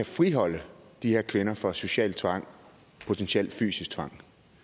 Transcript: friholde de her kvinder fra social tvang og potentiel fysisk tvang